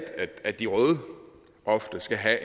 at de røde ofte skal have